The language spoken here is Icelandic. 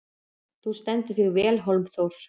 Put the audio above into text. Þú stendur þig vel, Hólmþór!